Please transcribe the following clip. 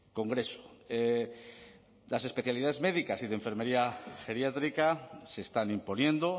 congreso las especialidades médicas y de enfermería geriátrica se están imponiendo